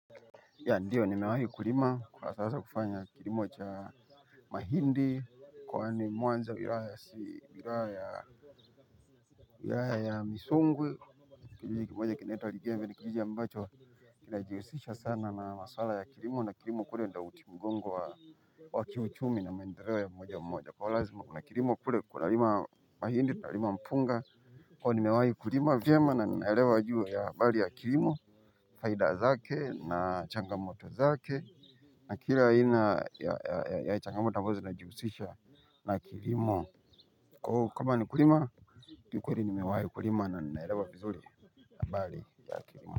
Ya ndiyo nimewahi kulima kwa sasa kufanya kilimo cha mahindi kwani mwanzo wira ya si wira ya wira ya ya misungwe. Kijiji kimoja kineta ligeve ni kijiji ya mbacho kinajiwisisha sana na masala ya kirimo na kirimo kule nda uti mgongo wa waki uchumi na mendelewa ya moja mmoja kwa lazima kuna kirimo kule kuna lima mahindi na lima mpunga. Kwa ni mewai kurima vya ma na naelewa juu ya bali ya kilimo. Faida zake na changamoto zake. Na kila aina ya changamoto ambazo zinajihusisha na kilimo. Kwa huu kama ni kurima. Kiukweli nimewai kulima na ninaelewa vizuri habari za kilimo.